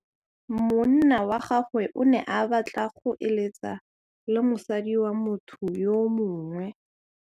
Monna wa gagwe o ne a batla go êlêtsa le mosadi wa motho yo mongwe.